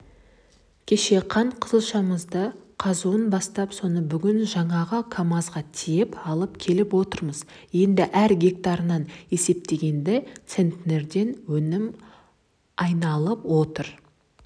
кеше қант қызылшамыздың қазуын бастап соны бүгін жаңағы камазға тиеп алып келіп отырмыз енді әр гектарынан есептегенде центнерден өнім айналып отыр